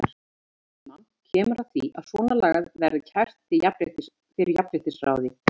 Einhvern tímann kemur að því að svona lagað verður kært fyrir jafnréttisráði.